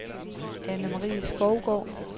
Anne-Marie Skovgaard